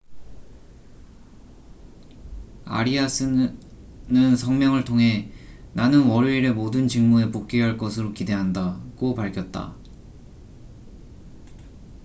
"아리아스arias는 성명을 통해 "나는 월요일에 모든 직무에 복귀할 것으로 기대한다""고 밝혔다.